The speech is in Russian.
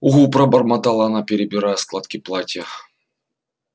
угу пробормотала она перебирая складки платья